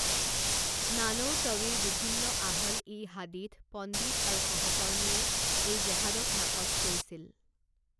নানৌতৱীৰ বিভিন্ন আহল ই হাদীথ পণ্ডিত আৰু সহকৰ্মীয়ে এই জেহাদক নাকচ কৰিছিল।